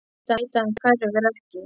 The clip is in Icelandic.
Ég veit að hann hverfur ekki.